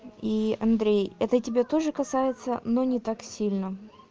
и андрей это тебя тоже касается но не так сильно